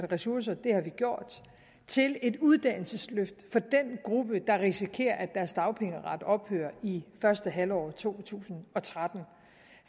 ressourcer det har vi gjort til et uddannelsesløft for den gruppe der risikerer at deres dagpengeret ophører i første halvår af to tusind og tretten